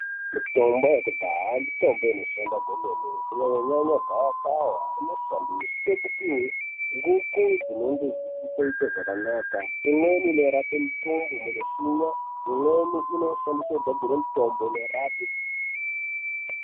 Mitombo yekudhaya mitombo inoshanda kwemene. Kunyanya-nyanya gavakava rinoshandiswe kupiwe nguku dzinenge dzisingachaite zvakanaka. Imweni inorape mitumbu inoshinya. Imweni inoshandiswe kugadzire mitombo inorape.